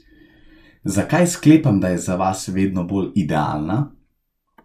Zakaj sklepam, da je za vas vedno bolj idealna?